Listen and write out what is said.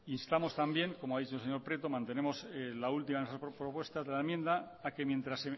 como ha dicho el señor prieto mantenemos la última de nuestras propuestas de la enmienda a que mientras